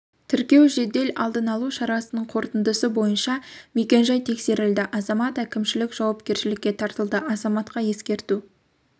тіркеу жедел алдын алу шарасының қортындысы бойынша мекен жай тексерілді азамат әкімшілік жауапкершілікке тартылды азаматқа ескерту